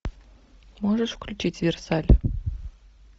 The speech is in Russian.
можешь включить версаль